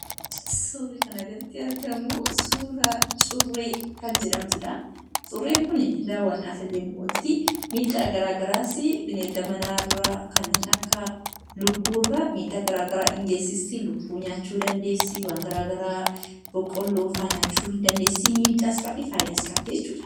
Suurri kana gaditti argamu suuraa curree kan jedhamtudha. Curren kun daawwannaaf illee ni oolti. Miidhaa garaagaraasa bineelda manaarra kanneen akka lukkuurra miidhaa garaagaraa ni geessifti. Lukkuu nyaachuu dandeessi boqqoolloo garaagaraas miidhaas fayidaas qabdii jechuudha.